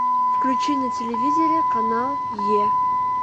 включи на телевизоре канал е